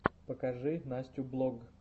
покажи настю блог